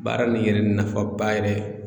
Baara nin yɛrɛ nafaba yɛrɛ